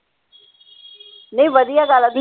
ਨਹੀਂ ਵਧੀਆ ਗੱਲ ਆ